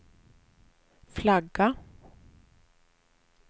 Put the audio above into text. flagga